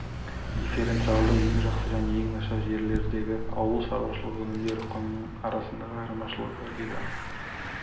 дифференциалды ең жақсы және ең нашар жерлердегі ауыл шаруашылық өнімдері құнының арасындағы айырмашылығы деді